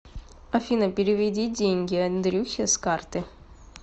афина переведи деньги андрюхе с карты